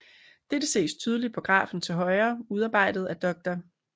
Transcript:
Dette ses tydeligt på grafen til højre udarbejdet af Dr